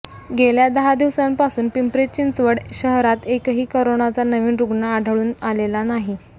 गेल्या दहा दिवसांपासून पिंपरी चिंचवड शहरात एकही करोनाचा नवीन रुग्ण आढळून आलेला नाही